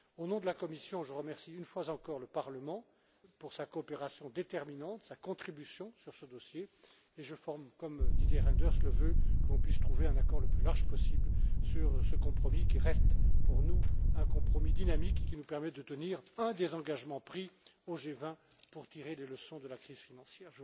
Au nom de la Commission, je remercie une fois encore le Parlement pour sa coopération déterminante, sa contribution sur ce dossier, et je forme, comme Didier Reynders, le vœu que l'on puisse trouver un accord le plus large possible sur ce compromis qui reste pour nous un compromis dynamique et qui nous permet de tenir un des engagements pris au G20, pour tirer des leçons de la crise financière.